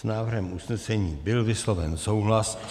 S návrhem usnesení byl vysloven souhlas.